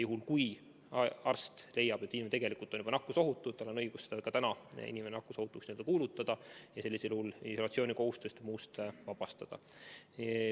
Juhul, kui arst leiab, et inimene on tegelikult juba nakkusohutu, siis on tal õigus inimene nakkusohutuks kuulutada ning isolatsioonikohustusest vabastada.